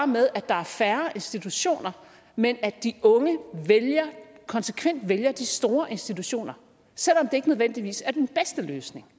med at der er færre institutioner men at de unge konsekvent vælger de store institutioner selv om det ikke nødvendigvis er den bedste løsning